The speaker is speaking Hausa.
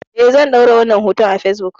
Eh zan ɗora wannan hoton a fesbuk